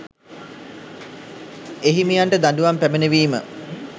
එහිමියන්ට දඬුවම් පැමිණවීම